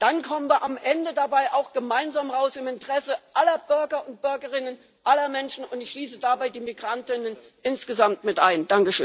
Dann kommen wir am Ende dabei auch gemeinsam heraus im Interesse aller Bürger und Bürgerinnen, aller Menschen, und ich schließe dabei die Migranten insgesamt mit ein.